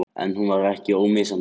En hún var ekki ómissandi.